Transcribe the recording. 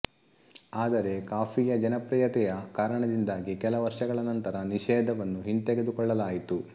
ಆದರೆ ಕಾಫಿಯ ಜನಪ್ರಿಯತೆಯ ಕಾರಣದಿಂದಾಗಿ ಕೆಲ ವರ್ಷಗಳ ನಂತರ ನಿಷೇಧವನ್ನು ಹಿಂತೆಗೆದುಕೊಳ್ಳಲಾಯಿತು